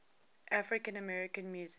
african american music